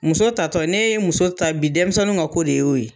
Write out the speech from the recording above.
Muso ta tɔ , n'e ye muso ta bi denmisɛnw ka ko de y'o ye.